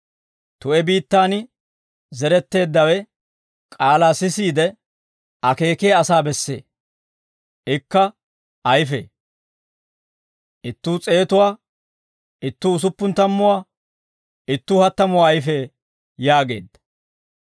Tu'e biittaan zeretteeddawe, k'aalaa sisiide, akeekiyaa asaa bessee; ikka ayfee; ittuu s'eetuwaa, ittuu usuppun tammuwaa, ittuu hattamuwaa ayfee» yaageedda.